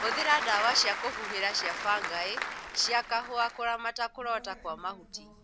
Hũthĩra dawa cia kũhuhira cia bangaĩ cia kahũa kũramata kũrota kwa mahuti